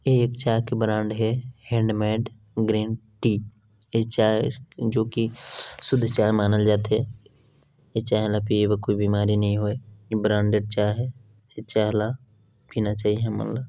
ए एक चाय के ब्रांड हे हैंडमेड ग्रीन टी ये चाय जो की शुद्ध चाय मानल जाथे ए चाय ला पिये बर कोई बीमारी नई होय ए ब्रांडेड चाय हे ए चाय ला पीना चाइये हमन ला--